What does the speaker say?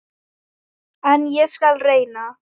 En ég skal reyna.